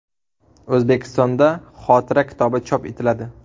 O‘zbekistonda xotira kitobi chop etiladi.